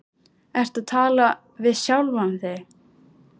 Ertu að tala við sjálfa þig?